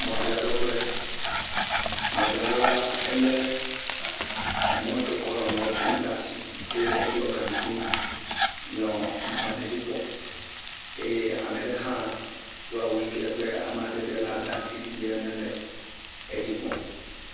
Mɔdzraɖoƒe, mɔdzraɖo la elé emɔ keke wokɔ nɔ nua trem ɖe asi eye eɖɔ gakui eye ame ɖe hã edo awu yi ke nye awu aŋutiɖiɖi ene le edzi kpɔm.